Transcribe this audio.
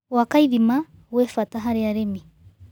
Gwaka ĩthĩma gwĩ bata harĩ arĩmĩ